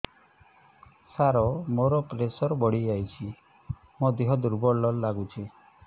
ସାର ମୋର ପ୍ରେସର ବଢ଼ିଯାଇଛି ମୋ ଦିହ ଦୁର୍ବଳ ଲାଗୁଚି